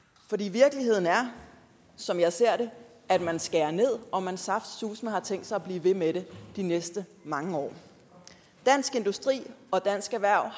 virkeligheden er som jeg ser den at man skærer ned og at man saftsuseme har tænkt sig at blive ved med det de næste mange år dansk industri og dansk erhverv